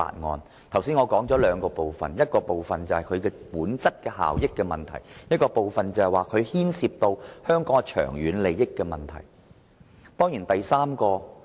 我剛才指出了兩部分，一部分是本身效益的問題，另一部分牽涉香港長遠利益的問題。